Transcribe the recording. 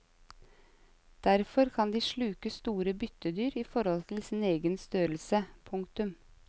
Derfor kan de sluke store byttedyr i forhold til sin egen størrelse. punktum